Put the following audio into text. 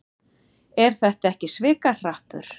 Er þetta ekki svikahrappur?